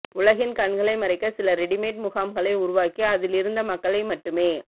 உலகின் கண்களை மறைக்க சில ரெடிமேட் முகாம்களை உருவாக்கி அதிலிருந்த மக்களை மட்டுமே